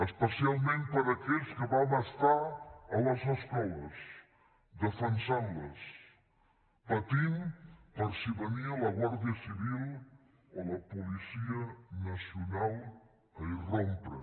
especialment per a aquells que vam estar a les escoles defensant les patint per si venia la guàrdia civil o la policia nacional a irrompre